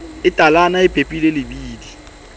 e talana e pepileng lebidi